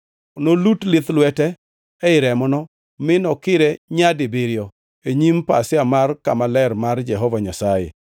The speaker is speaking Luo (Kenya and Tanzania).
Nolut lith lwete ei remono, mi nokire nyadibiriyo e nyim pasia mar kama ler mar Jehova Nyasaye.